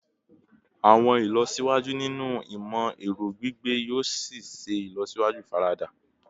Awọn ilọsiwaju ninu imọ-ẹrọ gbigbe yoo ṣee ṣe ilọsiwaju ifarada